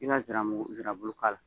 I bɛ nsirabulu k'a la